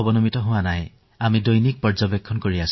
বাকী ৯জন লোকক আমি নিতৌ নিৰীক্ষণ কৰি আছো